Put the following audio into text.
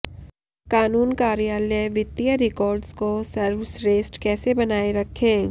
कानून कार्यालय वित्तीय रिकॉर्ड्स को सर्वश्रेष्ठ कैसे बनाए रखें